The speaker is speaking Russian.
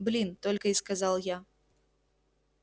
блин только и сказал я